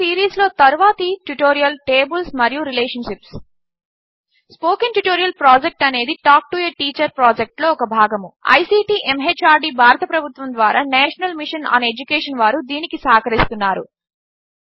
ఈ సీరీస్లో తరువాతి ట్యుటోరియల్ టేబిల్స్ మరియు రిలేషన్షిప్స్ స్పోకెన్ ట్యుటోరియల్ ప్రాజెక్ట్ అనేది టాక్ టు ఎ టీచర్ ప్రాజెక్ట్లో ఒక భాగము ఐసీటీ ఎంహార్డీ భారత ప్రభుత్వము ద్వారా నేషనల్ మిషన్ ఆన్ ఎడ్యుకేషన్ వారు దీనికి సహకరిస్తున్నారు